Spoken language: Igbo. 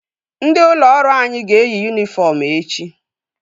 Ndị ụlọ ọrụ anyị ga-eyi yunifọm echi